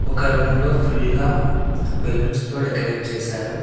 ఒక రూమ్ లో ఫుల్ గా బెలూన్స్ తో డెకరేట్ చేశారు.